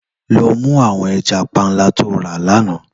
Lò mú áwòn èjà pànlá tó rá làná